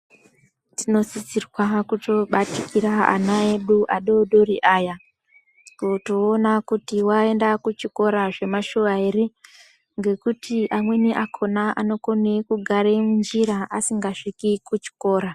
Tinosisirwa kutobatikira ana edu adodori aya kutoona kuti aenda kuchikora zvemashuwa here ngekuti amweni akhona anokone kugara munjira asingasviki kuchikora.